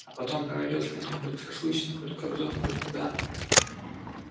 а потом поведёшь меня хоть к шашлычной хоть к кобзону хоть куда